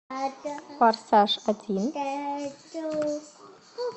форсаж один